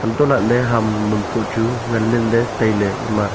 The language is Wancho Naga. antolaley ham am bu chu nganle ley tailey ema.